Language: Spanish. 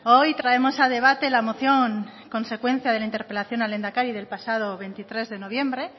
hoy traemos a debate la moción consecuencia de la interpelación al lehendakari del pasado veintitrés de noviembre